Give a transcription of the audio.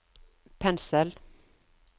pensel